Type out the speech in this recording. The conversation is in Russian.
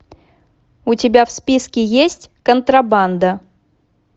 у тебя в списке есть контрабанда